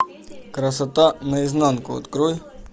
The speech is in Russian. красота наизнанку открой